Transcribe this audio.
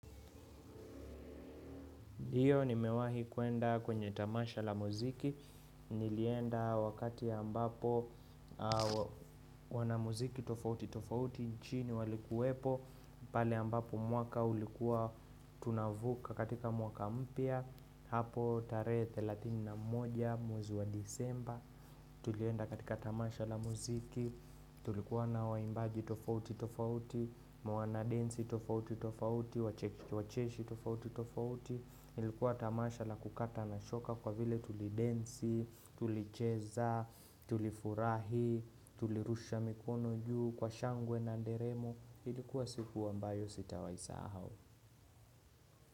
Ndiyo ni mewahi kuenda kwenye tamasha la muziki, nilienda wakati ambapo wana muziki tofauti tofauti, nchini walikuwepo, pale ambapo mwaka ulikuwa tunavuka katika mwaka mpya, hapo tarehe thelathini na moja mwezi wa Disemba, tulienda katika tamasha la muziki, tulikuwa na waimbaji tofauti tofauti, mwana densi tofauti tofauti, wacheshi tofauti tofauti, ilikuwa tamasha la kukata na shoka kwa vile tulidensi, tulicheza, tulifurahi, tulirusha mikono juu kwa shangwe na nderemo ilikuwa siku ambayo sitawai sahau.